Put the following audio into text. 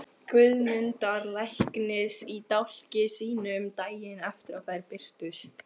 Guðmundar læknis í dálki sínum, daginn eftir að þær birtust.